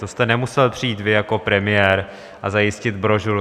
To jste nemusel přijít vy jako premiér a zajistit brožuru.